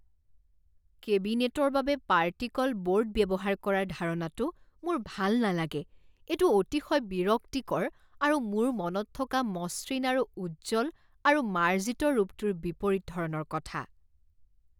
কেবিনেটৰ বাবে particle board ব্যৱহাৰ কৰাৰ ধাৰণাটো মোৰ ভাল নালাগে। এইটো অতিশয় বিৰক্তিকৰ আৰু মোৰ মনত থকা মসৃণ আৰু উজ্জ্বল আৰু মাৰ্জিত ৰূপটোৰ বিপৰীত ধৰণৰ কথা।